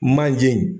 Manje in